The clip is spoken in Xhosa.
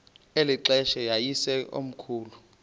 eli xesha yayisekomkhulu